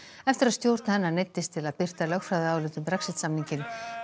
eftir að stjórn hennar neyddist til að birta lögfræðiálit um Brexit samninginn